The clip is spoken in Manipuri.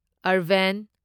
ꯑꯔꯕꯦꯟ